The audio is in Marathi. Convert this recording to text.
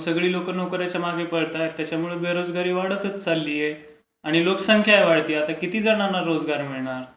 म्हणून सगळी लोकं नोकर् यांच्या मागे पळतायत. बेरोजगारी वाढतच चाललीय. आणि नुकसान काय माहितेय. किती जणांना रोजगार मिळणार...